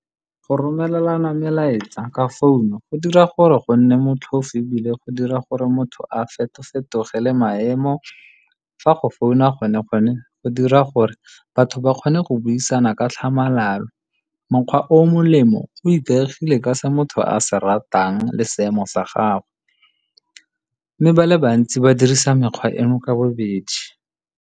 Go romelelana melaetsa ka founu go dira gore go nne motlhofo ebile, go dira gore motho a fetofetoge le maemo. Fa go founa gone go dira gore batho ba kgone go buisana ka tlhamalalo. Mokgwa o molemo o ikaegile ka se motho a se ratang le seemo sa gagwe, mme ba le bantsi ba dirisa mekgwa eno ka bobedi.